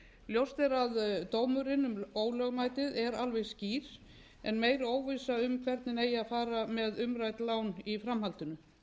ljóst er að dómurinn um ólögmæt er alveg skýr en meiri óvissa um hvernig eigi að fara með umrædd lán í framhaldinu